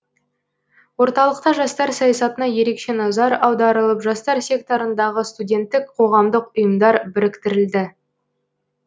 орталықта жастар саясатына ерекше назар аударылып жастар секторындағы студенттік қоғамдық ұйымдар біріктірілді